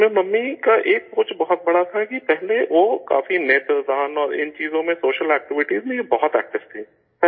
اس میں ممی کی ایک سوچ بہت بڑی تھی کہ پہلے وہ کافی آنکھوں کے عطیہ اور ان چیزوں میں، سوشل اکٹیوٹیز میںیہ بہت ایکٹو تھیں